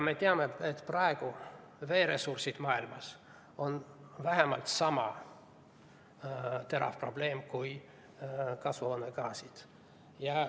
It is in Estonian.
Me teame, et praegu on veeressursid maailmas vähemalt sama terav probleem kui kasvuhoonegaasid.